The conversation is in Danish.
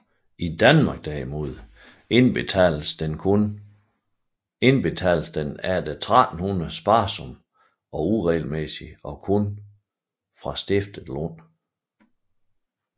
I Danmark derimod indbetaltes den efter 1300 sparsomt og uregelmæssigt og kun fra stiftet Lund